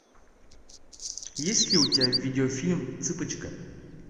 есть ли у тебя видеофильм цыпочка